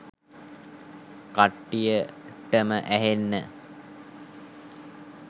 කට්ටියටම ඇහෙන්න